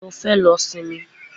Mo fẹ́ lọ sinmi.